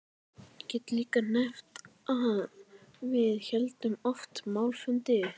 Ég get líka nefnt að við héldum oft málfundi.